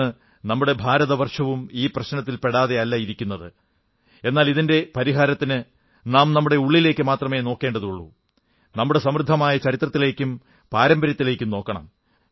ഇന്നു നമ്മുടെ ഭാരതവർഷവും ഈ പ്രശ്നത്തിൽ പെടാതെയല്ല ഇരിക്കുന്നത് എന്നാൽ ഇതിന്റെ പരിഹാരത്തിന് നാം നമ്മുടെ ഉള്ളിലേക്കു മാത്രമേ നോക്കേണ്ടതുള്ളൂ നമ്മുടെ സമൃദ്ധമായ ചരിത്രത്തിലേക്കും പാരമ്പര്യത്തിലേക്കും നോക്കണം